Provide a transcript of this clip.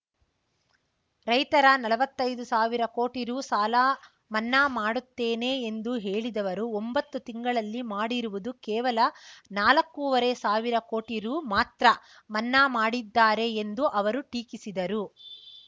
ರೈತರ ನಲ್ವತ್ತೈದು ಸಾವಿರ ಕೋಟಿ ರೂ ಸಾಲ ಮನ್ನಾ ಮಾಡುತ್ತೇನೆ ಎಂದು ಹೇಳಿದವರು ಒಂಬತ್ತು ತಿಂಗಳಲ್ಲಿ ಮಾಡಿರುವುದು ಕೇವಲ ನಾಲ್ಕೂವರೆ ಸಾವಿರ ಕೋಟಿ ರೂ ಮಾತ್ರ ಮನ್ನಾ ಮಾಡಿದ್ದಾರೆ ಎಂದು ಅವರು ಟೀಕಿಸಿದರು